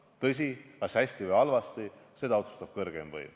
Tõsi, kas hästi või halvasti, seda otsustab kõrgeim võim.